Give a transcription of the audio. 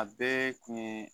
A bɛɛ kun ye